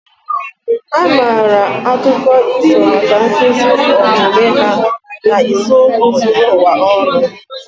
A maara akụkọ ifo maka nkuzi omume ha na isiokwu zuru ụwa ọnụ